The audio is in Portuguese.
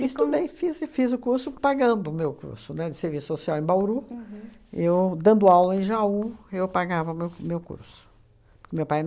Estudei, fiz e fiz o curso pagando o meu curso, né, de serviço social em Bauru, eu dando aula em Jaú, eu pagava meu meu curso. Porque meu pai